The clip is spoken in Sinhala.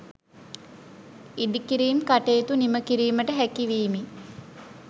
ඉදිකිරීම් කටයුතු නිම කිරීමට හැකිවීම